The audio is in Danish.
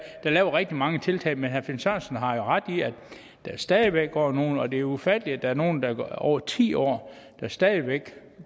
lavet rigtig mange tiltag men herre finn sørensen har jo ret i at der stadig væk går nogle og det er ufatteligt at der er nogle der går i over ti år og stadig væk